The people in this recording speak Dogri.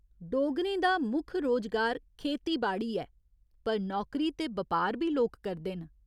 डोगरें दा मुक्ख रोजगार खेतीबाड़ी ऐ पर नौकरी ते बपार बी लोक करदे न।